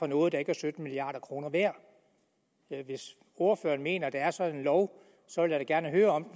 for noget der ikke er sytten milliard kroner værd hvis ordføreren mener der er sådan en lov så vil jeg gerne høre om